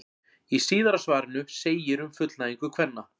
Í síðara svarinu segir um fullnægingu kvenna: